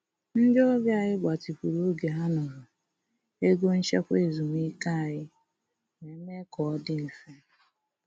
Ndị ọbịa anyị gbatịkwuru oge ha nọrọ, ego nchekwa ezumike anyị wee mee ka ọ dị mfe